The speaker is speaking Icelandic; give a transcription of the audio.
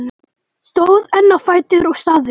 Stóð enn á fætur og sagði: